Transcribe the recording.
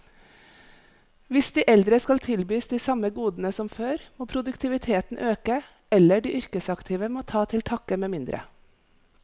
Hvis de eldre skal tilbys de samme godene som før, må produktiviteten øke, eller de yrkesaktive må ta til takke med mindre.